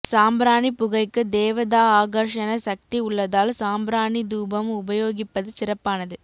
சாம்பிராணிபுகைக்கு தேவதா ஆகர்ஷ்ண சக்தி உள்ளதால் சாம்பிராணி தூபம் உபயோகிப்பது சிறப்பானது